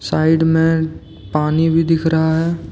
Side में पानी भी दिख रहा है।